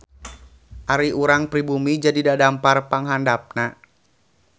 Ari urang pribumi jadi dadampar panghandapna.